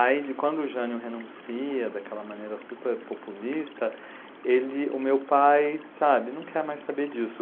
Aí quando o Jânio renuncia daquela maneira super populista, ele, o meu pai sabe, ele não quer mais saber disso.